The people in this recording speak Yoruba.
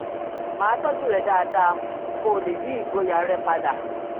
máa tọ́jú rẹ̀ dáadáa kó o lè ní ìgboyà rẹ padà